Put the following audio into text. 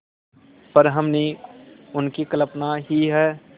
पर हमने उनकी कल्पना ही है